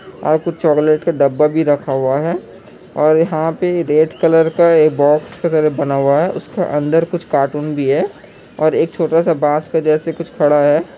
और कुछ चॉकलेट का डब्बा भी रखा हुआ है और यहां पर रेड कलर का एक बॉक्स बना हुआ है उसके अंदर कुछ कार्टन भी है और एक छोटा सा बस के जैसा कुछ पड़ा है।